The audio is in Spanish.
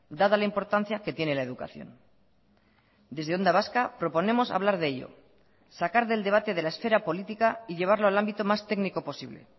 dada la importancia que tiene la educación desde onda vasca proponemos hablar de ello sacar del debate de la esfera política y llevarlo al ámbito más técnico posible